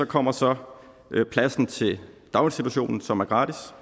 kommer så pladsen til daginstitutionen som er gratis